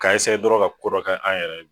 K'a eseye dɔrɔn ka ko dɔ kɛ an yɛrɛ ye